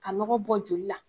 Ka nɔgɔ bɔ joli la